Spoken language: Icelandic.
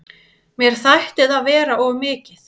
Mér þætti það vera of mikið.